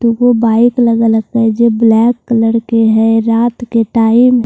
तो वो बाइक अलग अलग के हैं यह ब्लैक कलर के हैं रात के टाइम --